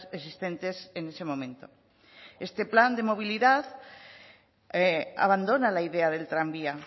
existentes en ese momento este plan de movilidad abandona la idea del tranvía